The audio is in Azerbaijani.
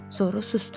Sonra susdu.